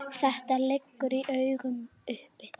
Þetta liggur í augum uppi.